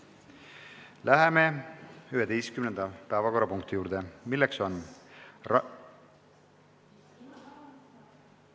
Läheme 11. päevakorrapunkti juurde, milleks on ...